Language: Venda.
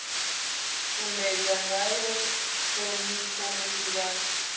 sumbedza ngayo ṱhonipho musi vha